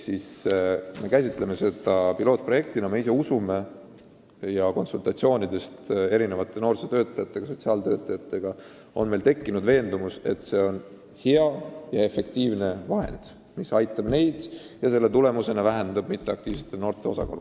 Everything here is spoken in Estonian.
" Seega me käsitame seda pilootprojektina, aga me usume – konsultatsioonidest noorsootöötajate ja sotsiaaltöötajatega on meil tekkinud see veendumus –, et see on efektiivne lahendus, mis aitab neid nende töös ja selle tulemusena väheneb Eestis mitteaktiivsete noorte osakaal.